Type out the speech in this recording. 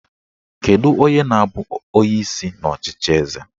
Kedu onye na-abụ onyeisi n'ọchịchị eze?